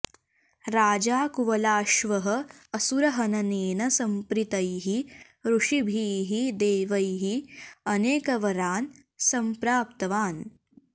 राजा कुवलाश्वः असुरहननेन संप्रीतैः ऋषिभिः देवैः अनेकवरान् संप्राप्तवान्